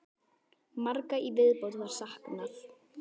Margra í viðbót var saknað.